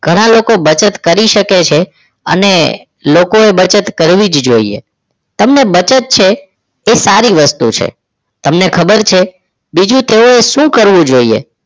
ઘણા લોકો બચત કરી શકે છે અને લોકોએ બચત કરવી જ જોઈએ તમને બચત છે એ સારી વસ્તુ છે તમને ખબર છે બીજું તો શું કરવું જોઈએ